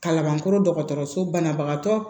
Kalabankɔrɔ dɔgɔtɔrɔso banabagatɔ